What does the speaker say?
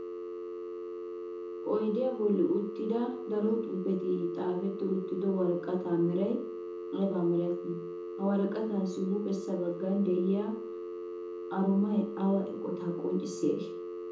Oyddiya bolla uttidda daro xuufetti xaafetti uttido woraqatta meray aybba malati? Ha woraqattaassi huuphessa bagan de'iyaa arumay awa eqota qonccissiyaage?